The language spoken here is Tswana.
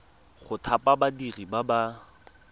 go thapa badiri ba ba